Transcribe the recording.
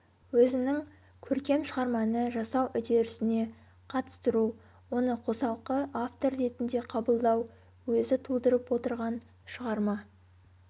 өзінің көркем шығарманы жасау үдерісіне қатыстыру оны қосалқы автор ретінде қабылдау өзі тудырып отырған шығарма